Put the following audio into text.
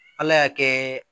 Ala y'a kɛ